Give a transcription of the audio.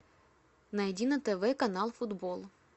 найди на тв канал футбол